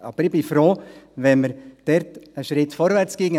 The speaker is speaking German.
Aber ich wäre froh, wenn wir dort einen Schritt vorwärtsgingen.